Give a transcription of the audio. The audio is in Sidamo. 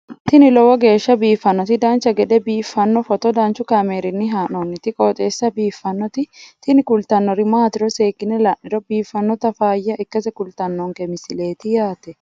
tini lowo geeshsha biiffannoti dancha gede biiffanno footo danchu kaameerinni haa'noonniti qooxeessa biiffannoti tini kultannori maatiro seekkine la'niro biiffannota faayya ikkase kultannoke misileeti yaate